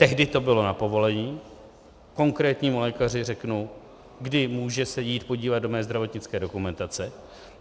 Tehdy to bylo na povolení, konkrétnímu lékaři řeknu, kdy může se jít podívat do mé zdravotnické dokumentace.